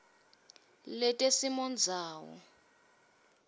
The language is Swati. letesimondzawo